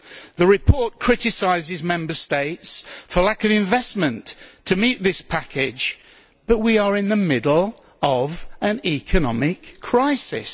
The report criticises Member States for lack of investment to meet this package, but we are in a middle of an economic crisis.